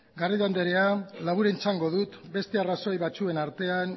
garrido anderea labur erantzungo dut beste arrazoi batzuen artean